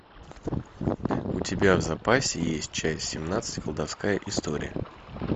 у тебя в запасе есть часть семнадцать колдовская история